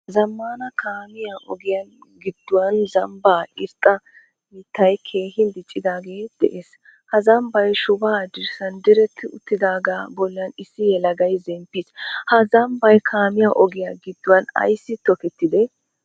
Zamaanaa kaamiyaa ogiyaan gidduwan zambaa irxxa mittay keehin diccidagee de'ees. Ha zambay shubba dirssan diretti uttidaga bollan issi yelagay zemppiis. Ha zambay kaamiya ogiyaa giduwan aysi tokketidee?